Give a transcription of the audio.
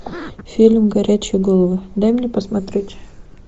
фильм горячие головы дай мне посмотреть